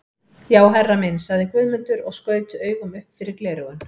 Já herra minn, sagði Guðmundur og skaut augum upp fyrir gleraugun.